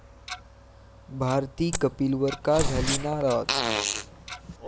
भारती कपिलवर का झाली नाराज?